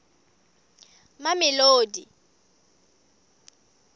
mamelodi